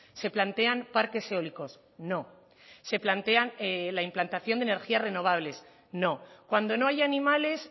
se plantean parques eólicos no se plantean la implantación de energías renovables no cuando no hay animales